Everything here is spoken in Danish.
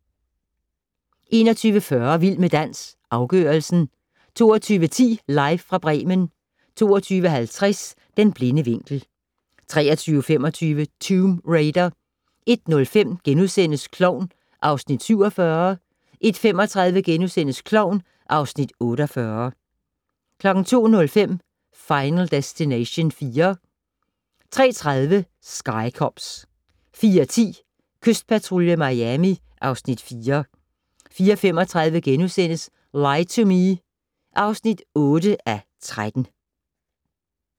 21:40: Vild med dans - afgørelsen 22:10: Live fra Bremen 22:50: Den blinde vinkel 23:25: Tomb Raider 01:05: Klovn (Afs. 47)* 01:35: Klovn (Afs. 48)* 02:05: Final Destination 4 03:30: Sky Cops 04:10: Kystpatrulje Miami (Afs. 4) 04:35: Lie to Me (8:13)*